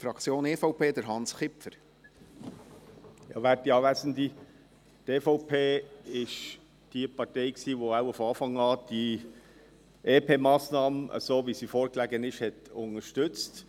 Die EVP war die Partei, welche die EP-Massnahme so, wie sie vorlag, wohl von Anfang an unterstützte.